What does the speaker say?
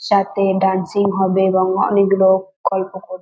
সাথে ডান্সিং হবে এবং অনেক লোক গল্প করবে।